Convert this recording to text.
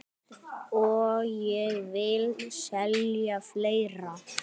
Og ég vil selja fleira.